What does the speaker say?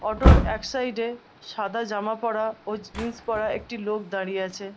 Auto র এক side এ সাদা জামা পরা ও জিন্স পরা একটি লোক দাঁড়িয়ে আছে ।